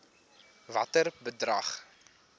watter bedrag